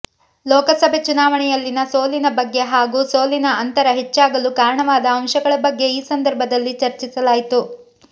ಲೋಕಸಭೆ ಚುನಾವಣೆಯಲ್ಲಿನ ಸೋಲಿನ ಬಗ್ಗೆ ಹಾಗೂ ಸೋಲಿನ ಅಂತರ ಹೆಚ್ಚಾಗಲು ಕಾರಣವಾದ ಅಂಶಗಳ ಬಗ್ಗೆ ಈ ಸಂದರ್ಭದಲ್ಲಿ ಚರ್ಚಿಸಲಾಯಿತು